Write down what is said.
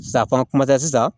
Safan kuma tɛ sisan